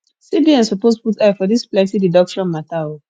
cbn suppose put eye for dis plenty deduction mata o